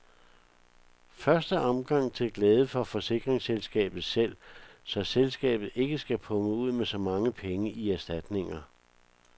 I første omgang til glæde for forsikringsselskabet selv, så selskabet ikke skal punge ud med så mange penge i erstatninger.